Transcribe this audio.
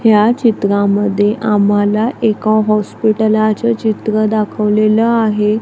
या चित्रांमध्ये आम्हाला एका हॉस्पिटलाच चित्र दाखवलेलं आहे.